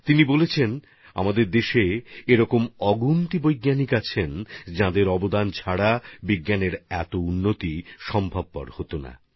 তিনি লিখেছেন আমাদের দেশে অসংখ্য বিজ্ঞানী আছেন যাঁদের অবদান ছাড়া বিজ্ঞান এতদূর অগ্রগতি করতে পারত না